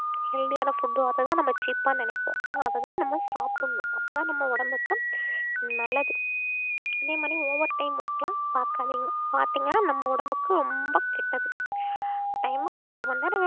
healthy யான food ஓ அதுதான் நம்ம cheap ஆ நினைப்போம் அதைத்தான் நம்ம சாப்பிடணும் அப்பதான் நம்ம உடம்புக்கு நல்லது அதே மாதிரி overtime work எல்லாம் பாக்காதீங்க பாத்தீங்கன்னா நம்ம உடம்புக்கு ரொம்ப கெட்டது time க்கு எட்டு மணி நேரம்